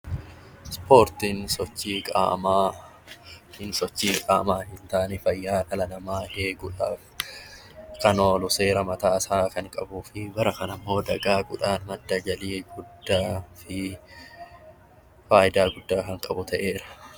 Ispoortiin sochii qaamaa yookiin sochii qaamaa hin taane fayyaa dhala namaa eeguudhaaf kan oolu seera mataa isaa qabuu fi bara kana immoo dagaaguudhaan madda galii guddaa fi fayidaa guddaa kan qabu ta'edha.